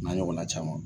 N'a ɲɔgɔnna caman